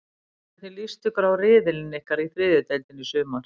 Hvernig list ykkur á riðilinn ykkar í þriðju deildinni í sumar?